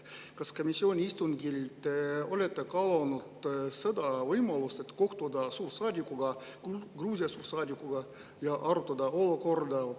Kas te komisjoni istungil olete kaalunud seda võimalust, et kohtuda Gruusia suursaadikuga ja arutada olukorda?